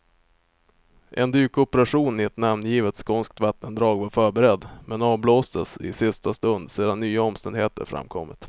En dykoperation i ett namngivet skånskt vattendrag var förberedd, men avblåstes i sista stund sedan nya omständigheter framkommit.